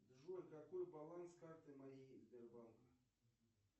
джой какой баланс карты моей сбербанк